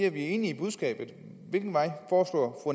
er enig i budskabet hvilken vej